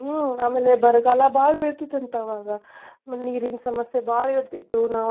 ಹ್ಮ್ ಆಮೇಲೆ ಬರ್ಗಾಲಾ ಬಾಳ್ ಬೀಳ್ತಿತ್ತಂತ ಅವಾಗ. ಆಮೇಲ್ ನೀರಿನ ಸಮಸ್ಯೆ ಬಾಳ ಇರ್ತಿತ್ತು ನಾವ್